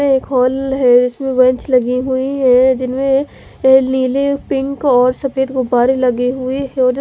एक हॉल है इसमें बेंच लगी हुई है जिसमे एक नील पिंक और सफेद गुब्बारे लगे हुए है जो--